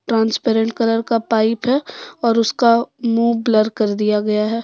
Transparent colour का pipe है और उसका मुंह ब्लर कर दिया गया है।